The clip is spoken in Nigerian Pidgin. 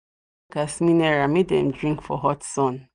i don give workers mineral make them drink for hot sun